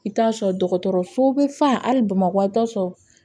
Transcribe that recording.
I t'a sɔrɔ dɔgɔtɔrɔso bɛ fa hali bamakɔ i t'a sɔrɔ